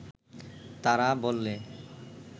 তারা বললে